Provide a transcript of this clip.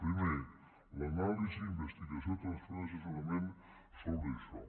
primer l’anàlisi investigació transferència i assessorament sobre això